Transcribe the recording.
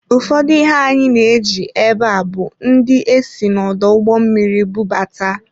Ụfọdụ ihe anyị na-eji ebe a bụ ndị e si n'ọdụ ụgbọ mmiri bubata.